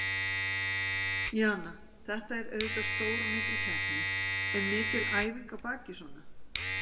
Jana, þetta er auðvitað stór og mikil keppni, er mikil æfing á baki svona?